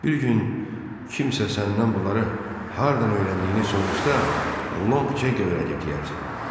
Bir gün kimsə səndən bunları hardan öyrəndiyini soruşsa, Long Ceng öyrədib deyərsən.